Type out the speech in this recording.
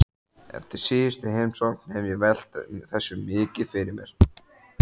Eftir síðustu heimsókn hef ég velt þessu mikið fyrir mér.